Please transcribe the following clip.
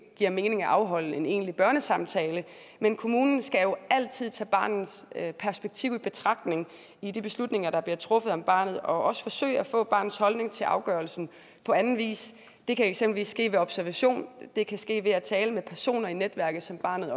giver mening at afholde en egentlig børnesamtale men kommunen skal altid tage barnets perspektiv i betragtning i de beslutninger der bliver truffet om barnet og også forsøge at få barnets holdning til afgørelsen på anden vis det kan eksempelvis ske ved observation og det kan ske ved at tale med personer i netværket som barnet